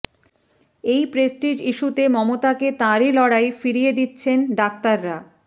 এই প্রেস্টিজ ইস্যুতে মমতাকে তাঁরই লড়াই ফিরিয়ে দিচ্ছেন ডাক্তাররা